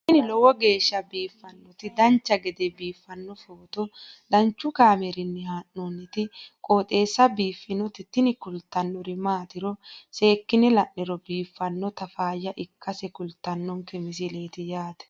tini lowo geeshsha biiffannoti dancha gede biiffanno footo danchu kaameerinni haa'noonniti qooxeessa biiffannoti tini kultannori maatiro seekkine la'niro biiffannota faayya ikkase kultannoke misileeti yaate